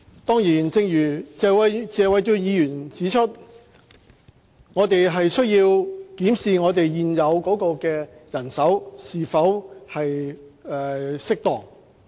當然，正如謝偉俊議員指出，我們有需要檢視現有人手是否適當。